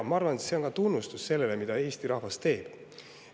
Ma arvan, et see on ka tunnustus sellele, mida Eesti rahvas teeb.